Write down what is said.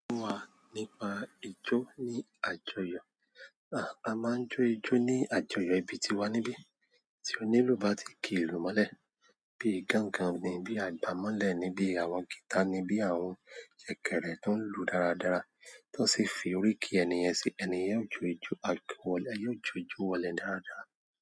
Wà nípa ijó ní àjọyọ̀. Ah, a maa n jo ijo ni àjọyọ̀ ibi tiwa nibi ti onílù bá ti ki ìlú mọ́lẹ̀, bíi gángan ni, bíi àgbàmọ́lẹ̀ ni, bíi àwọn gítà ni, bíi àwọn jẹ̀kẹ̀rẹ̀ tó ń lù dáradára, tó sì fi oríki ènìyen sí i, ènìyen óò jó ijó ajowole yóò jó ijó wọlé dáradára.